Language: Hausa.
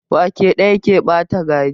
Wake ɗaya ke ɓata gari.